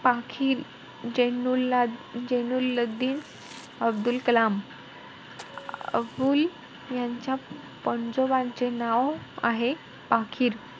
पाखील जेनुला~ जेनुल्लादिन अब्दुल कलाम. अं अबुल यांच्या पंजोबांचे नाव आहे पाखील.